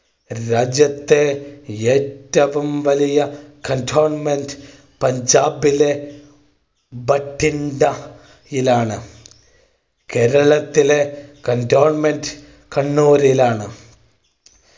രാജ്യത്തെ ഏറ്റവും വലിയ cantonment പഞ്ചാബിലെ ഭട്ടിണ്ട യിലാണ് കേരളത്തിലെ cantonment കണ്ണൂരിലാണ്.